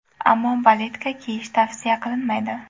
Ammo baletka kiyish tavsiya qilinmaydi.